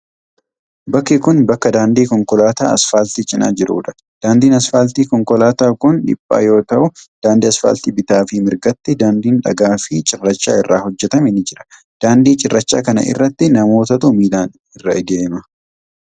Bakki kun, bakka daandii konkolaataa asfaaltii cinaa jiruu dha. Daandiin asfaaltii konkolaataa kun dhiphaa yoo ta'u, daandii asfaaltii bitaa fi mirgatti daandiin dhagaa fi cirracha irraa hojjatame ni jira. Daandii cirrachaa kana irratti namootatu miilan irra adeema.